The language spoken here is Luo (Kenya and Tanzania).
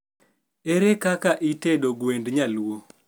ere kaka itedo gwend nyaluo